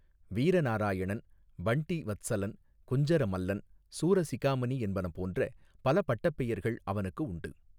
வீர நாராயணன் பண்டி வத்சலன் குஞ்சர மல்லன் சூரசிகாமணி என்பன போன்ற பல பட்டப் பெயர்கள் அவனுக்கு உண்டு.